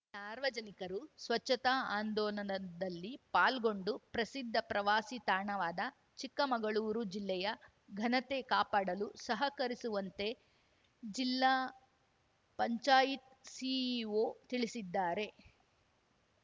ಸಾರ್ವಜನಿಕರು ಸ್ವಚ್ಛತಾ ಆಂದೋಲನದಲ್ಲಿ ಪಾಲ್ಗೊಂಡು ಪ್ರಸಿದ್ಧ ಪ್ರವಾಸಿ ತಾಣವಾದ ಚಿಕ್ಕಮಗಳೂರು ಜಿಲ್ಲೆಯ ಘನತೆ ಕಾಪಾಡಲು ಸಹಕರಿಸುವಂತೆ ಜಿಲ್ಲಾ ಪಂಚಾಯತ್ ಸಿಇಒ ತಿಳಿಸಿದ್ದಾರೆ